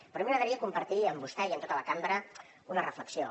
però a mi m’agradaria compartir amb vostè i amb tota la cambra una reflexió